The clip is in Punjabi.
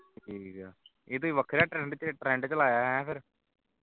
ਠੀਕ ਹੈ ਇਸ ਦਾ ਵੱਖਰਾ trend trend ਚਲਾਇਆ ਹੈ